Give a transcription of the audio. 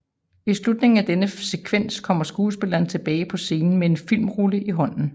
I slutningen af denne sekvens kommer skuespilleren tilbage på scenen med en filmrulle i hånden